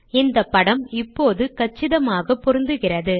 இந்த படம் இப்போது கச்சிதமாக பொருந்துகிறது